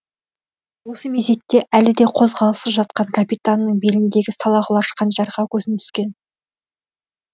осы мезетте әлі де қозғалыссыз жатқан капитанның беліндегі салақұлаш қанжарға көзім түскен